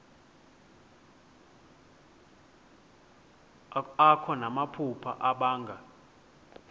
akho namaphupha abanga